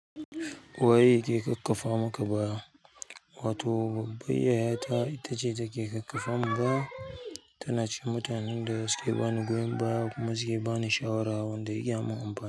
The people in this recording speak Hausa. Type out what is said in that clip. Waye yake ƙaƙƙafa maka baya? Wato babbar yaya ta ita ce take ƙaƙƙafa mun baya, tana ce mutanen da suke bani goyon baya kuma suke bani shawarar wanda yake mun amfani.